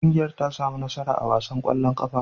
Ƙungiyar ta sami nasara a wasan ƙwallon ƙafar.